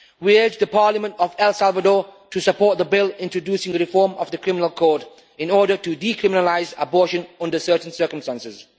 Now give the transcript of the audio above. We urge the Parliament of El Salvador to support the bill introducing the reform of the Criminal Code in order to decriminalise abortion under certain circumstances.